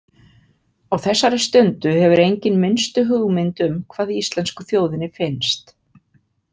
Á þessari stundu hefur enginn minnstu hugmynd um hvað íslensku þjóðinni finnst.